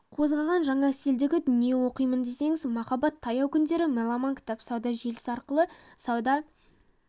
қозғаған жаңа стильдегі дүние оқимын десеңіз мархаббат таяу күндері меломан кітап сауда желісі арқылы сауда